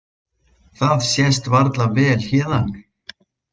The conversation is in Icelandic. Það sést varla vel héðan.